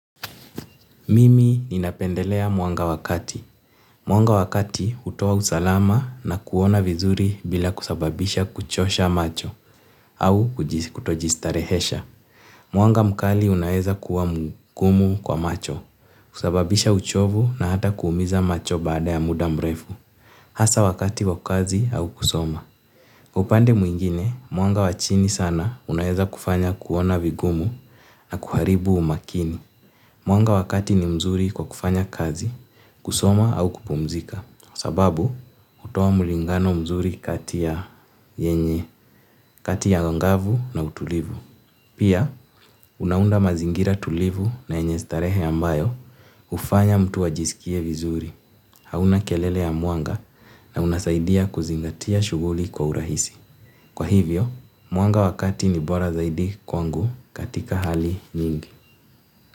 Mimi ninapendelea mwanga wakati. Mwanga wa kati hutoa usalama na kuona vizuri bila kusababisha kuchosha macho au kutojistarehesha. Mwanga mkali unaeza kuwa mgumu kwa macho, kusababisha uchovu na hata kuumiza macho baada ya muda mrefu. Hasa wakati kwa kazi au kusoma. Upande mwingine, mwanga wachini sana unaeza kufanya kuona vigumu na kuharibu umakini. Mwanga wakati ni mzuri kwa kufanya kazi, kusoma au kupumzika, sababu hutoa mulingano mzuri kati ya yenye kati ya ngavu na utulivu. Pia, unaunda mazingira tulivu na yenye starehe ambayo hufanya mtu ajisikie vizuri, hauna kelele ya mwanga na unasaidia kuzingatia shughuli kwa urahisi. Kwa hivyo, mwanga wakati ni bora zaidi kwangu katika hali nyingi.